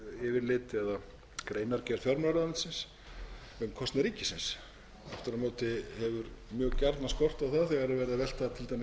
yfirlit eða greinargerð fjármálaráðuneytisins um kostnað ríkisins aftur á móti hefur mjög skort á það þegar verið er að velta til dæmis byrðum yfir á sveitarfélögin